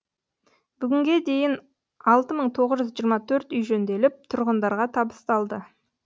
бүгінге дейін алты мың тоғыз жүз жиырма төрт үй жөнделіп тұрғындарға табысталды